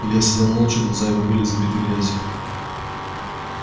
илья сидел молча глаза его были забиты грязью